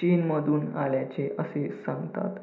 चीनमधून आल्याचे असे सांगतात